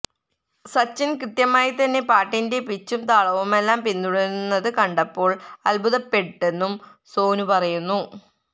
സച്ചിന് കൃത്യമായി തന്നെ പാട്ടിന്റെ പിച്ചും താളവുമെല്ലാം പിന്തുടരുന്നത് കണ്ടപ്പോള് അത്ഭുതപ്പെട്ടെന്നും സോനു പറയുന്നു